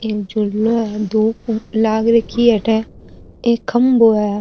एक झूलो है धुप लाग राखी है अठ एक खम्भों है।